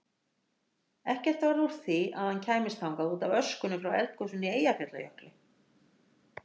Ekkert varð úr því að hann kæmist þangað útaf öskunni frá eldgosinu í Eyjafjallajökli.